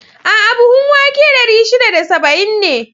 A'a! buhun wake dari shida da saba'in ne.